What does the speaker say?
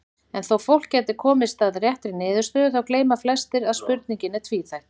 En þó fólk gæti komist að réttri niðurstöðu þá gleyma flestir að spurningin er tvíþætt.